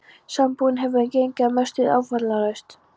Sambúðin hefur gengið að mestu áfallalaust.